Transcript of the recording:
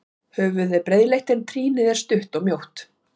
Höfuðið er breiðleitt en trýnið er stutt og mjótt.